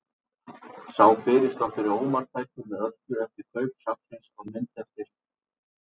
Sá fyrirsláttur er ómarktækur með öllu eftir kaup safnsins á mynd eftir